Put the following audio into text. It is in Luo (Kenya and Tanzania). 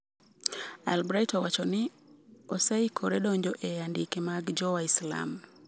Albright owacho" ni oseikore donjo e andike mag jo waislam"